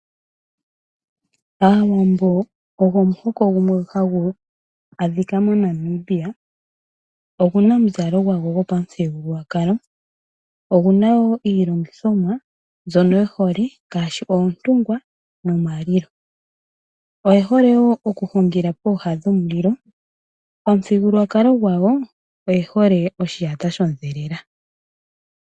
Aawambo ogo omuhoko gumwe hagu adhika moNamibia. Oguna omuzalo gwawo gwopamuthigululwakalo, oguna wo iilongithomwa mbyono ye hole ngaashi oontungwa nomalilo. Oye hole wo oku hungila pooha dhomulilo. Omuthigululwakalo gawo oye hole oshiyata shondhelela.